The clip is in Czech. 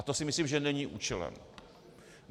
A to si myslím, že není účelem.